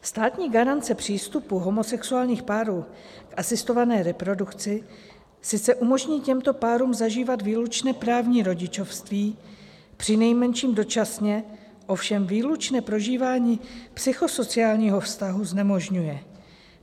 Státní garance přístupu homosexuálních párů k asistované reprodukci sice umožní těmto párům zažívat výlučné právní rodičovství, přinejmenším dočasně, ovšem výlučné prožívání psychosociálního vztahu znemožňuje.